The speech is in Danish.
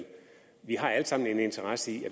stort set